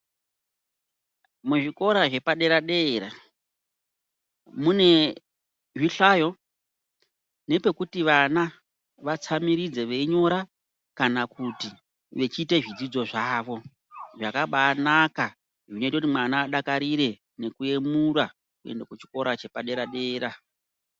Muzvikora zvepadera dera mune zvihlayo nepekuti vana vatsamiridze veinyora kana kuti vechiita zvidzidzo zvavo. Zvakabanaka zvinoite kuti mwana adakarire nokuyemura kuenda kuchikora chepadera dera.